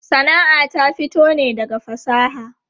Sana'a ta fito ne daga fasaha.